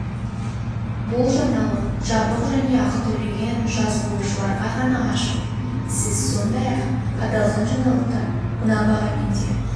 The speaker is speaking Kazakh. бұл жаңалық жабық және ақы төлеген жазылушыларға ғана ашық сіз сондай-ақ аталған жаңалықты мына бағамен де